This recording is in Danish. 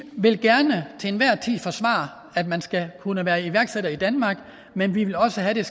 vil gerne til enhver tid forsvare at man skal kunne være iværksætter i danmark men vi vil også have at